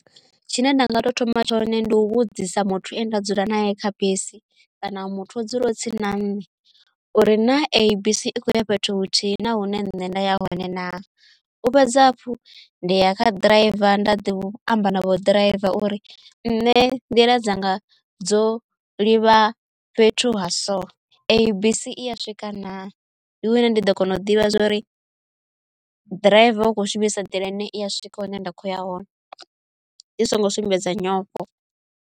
Tshine nda nga to thoma tshone ndi u vhudzisa muthu ane ndo dzula nae kha bisi kana muthu a dzule o tsini na nṋe uri na i kho ya fhethu huthihi na hune nṋe nda ya hone na u fhedza hafhu ndi ya kha ḓiraiva nda ḓi amba navho ḓiraiva uri nṋe nḓila dzanga dzo ḽi vha fhethu ha so i bisi i ya swika na ndi wina ndi ḓo kona u ḓivha zwori ḓiraiva ukho shumisa nḓila ine i ya swika hune nda khoya hone ndi songo sumbedza nyofho.